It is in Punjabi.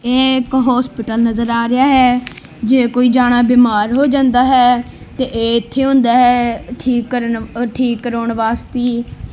ਇਹ ਇੱਕ ਹੋਸਪਿਟਲ ਨਜ਼ਰ ਆ ਰਿਹਾ ਹੈ ਜੇ ਕੋਈ ਜਾਨਾ ਬਿਮਾਰ ਹੋ ਜਾਂਦਾ ਹੈ ਤੇ ਇਹ ਇੱਥੇ ਹੁੰਦਾ ਹੈ ਠੀਕ ਕਰਨ ਅ ਠੀਕ ਕਰਾਉਣ ਵਾਸਤੀ।